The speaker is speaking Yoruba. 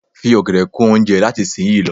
Fi ọ̀gẹ̀dè kún oúnjẹ ẹ láti ìsin yìí lọ.